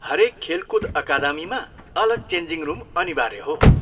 हरेक खेलकुद अकादमीमा अलग चेन्जिङ रुम अनिवार्य हो।